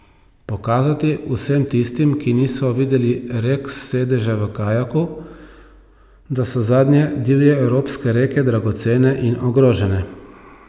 Pokazati vsem tistim, ki niso videli rek s sedeža v kajaku, da so zadnje divje evropske reke dragocene in ogrožene.